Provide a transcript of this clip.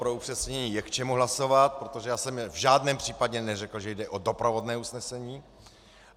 Pro upřesnění - je k čemu hlasovat, protože já jsem v žádném případě neřekl, že jde o doprovodné usnesení.